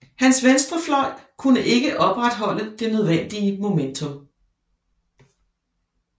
Hans venstre fløj kunne ikke opretholde det nødvendige momentum